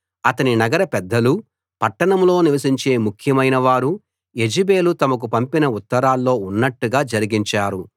అతని నగర పెద్దలూ పట్టణంలో నివసించే ముఖ్యమైన వారూ యెజెబెలు తమకు పంపిన ఉత్తరాల్లో ఉన్నట్టుగా జరిగించారు